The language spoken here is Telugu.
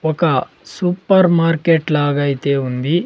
ఒక సూపర్ మార్కెట్ లాగా అయితే ఉంది.